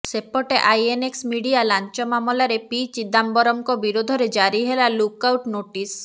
ସେପଟେ INX media ଲାଂଚ ମାମଲାରେ ପି ଚିଦାମ୍ବରମଙ୍କ ବିରୋଧରେ ଜାରି ହେଲା ଲୁକ୍ ଆଇଟ୍ ନୋଟିସ୍